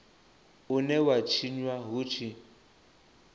une wa tshinwa hu tshi